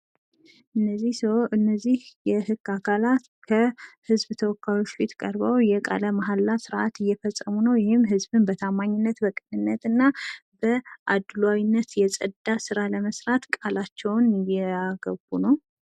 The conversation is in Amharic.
እነዚህ ስዎች እነዚህ የህግ አካላት ከህዝብ ተወካዮች ፊት ቀርበው የቃለ-መሀላ ስነ-ስርዓት እየፈጸሙ ነው። ይህም ህዝብን በታማኝነት በቅነንት እና ከአድሏዊነት የጸዳ ስራ ለመስራት ቃላቸውን እያገቡ ነው።